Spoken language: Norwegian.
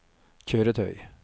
kjøretøy